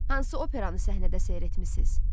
Hansı operanı səhnədə seyr etmisiz?